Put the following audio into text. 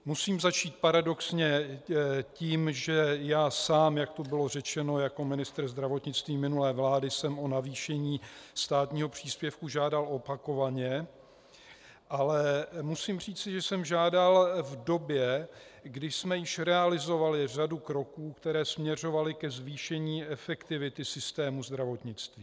Musím začít paradoxně tím, že já sám, jak tu bylo řečeno, jako ministr zdravotnictví minulé vlády jsem o navýšení státního příspěvku žádal opakovaně, ale musím říci, že jsem žádal v době, kdy jsme již realizovali řadu kroků, které směřovaly ke zvýšení efektivity systému zdravotnictví.